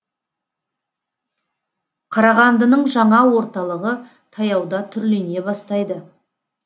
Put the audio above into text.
қарағандының жаңа орталығы таяуда түрлене бастайды